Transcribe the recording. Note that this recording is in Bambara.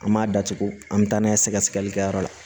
An m'a datugu an bɛ taa n'a ye sɛgɛsɛgɛlikɛyɔrɔ la